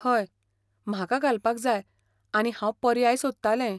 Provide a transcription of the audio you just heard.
हय, म्हाका घालपाक जाय आनी हांव पर्याय सोदतालें.